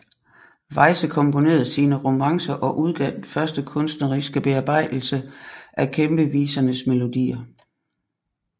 Weyse komponerede sine romancer og udgav den første kunstneriske bearbejdelse af kæmpevisernes melodier